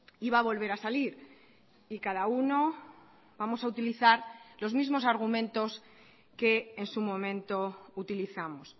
iba a volver a salir y cada uno vamos a utilizar los mismos argumentos que en su momento utilizamos